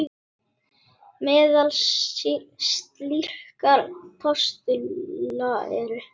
Meðal slíkra postula eru